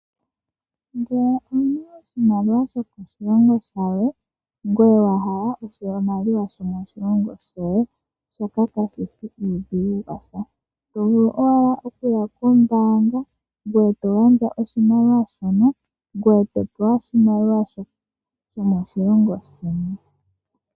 Ngele owu na oshimaliwa shokoshilongo shilwe ngoye wa hala oshimaliwa shomoshilongo shoye, shoka kashi shi uudhigu washa. Oto vulu okuya kombaanga e to gandja oshimaliwa shoka ngoye to pewa oshimaliwa shomoshilongo sheni.